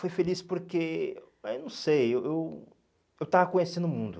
Foi feliz porque, eu não sei, eu eu estava conhecendo o mundo.